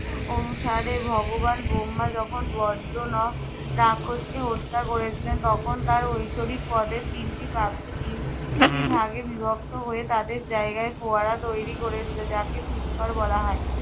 আহ অনুসারে ভগবান ব্রহ্মা যখন ব্জ্র ন রাক্ষসকে হত্যা করেছিলেন তখন তার ঐশরিক পদের তিনটি পাপড়ি তিন টি ভাগে বিভক্ত হয়ে তাদের জায়গায় ফোয়ারা তৈরী করেছিল যাকে পুষ্কর বলা হয়।